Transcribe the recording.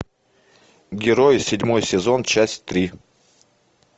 герои седьмой сезон часть три